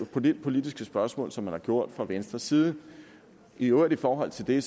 på det politiske spørgsmål som man har gjort fra venstres side i øvrigt i forhold til det